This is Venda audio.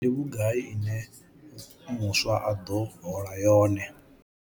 Ndi vhugai ine muswa a ḓo hola yone?